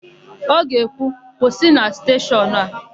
Ọ ga-ekwu, "kwụsị na steshọnụ a"!